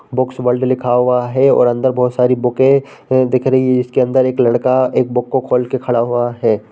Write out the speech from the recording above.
Books world लिखा हुआ है और अंदर बहोत सारी बुके दिख रही हैं। इसके अंदर एक लड़का एक बुक खोल के खड़ा हुआ है।